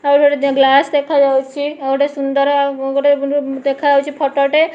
ଆଉ ଏହିଟି ମଧ୍ୟ ଗ୍ଲାସ ଦେଖାଯାଉଛି ଆଉ ଗୋଟେ ଦେଖ ଯାଉଛି ଫଟୋ ଟେ।